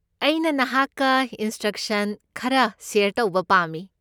ꯑꯩꯅ ꯅꯍꯥꯛꯀ ꯏꯟꯁꯇ꯭ꯔꯛꯁꯟ ꯈꯔ ꯁꯦꯌꯔ ꯇꯧꯕ ꯄꯥꯝꯃꯤ꯫